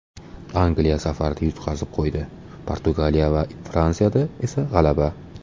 Angliya safarda yutqazib qo‘ydi, Portugaliya va Fransiyada esa g‘alaba.